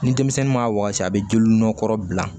Ni denmisɛnnin m'a wagati a bɛ joli nɔ kɔrɔ bila